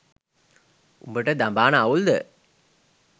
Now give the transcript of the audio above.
උඹට දඹාන අවුල්ද?